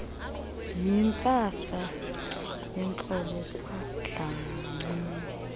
yintsasa yehlobo kwadlamini